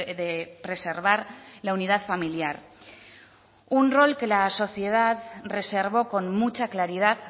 de preservar la unidad familiar un rol que la sociedad reservó con mucha claridad